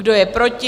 Kdo je proti?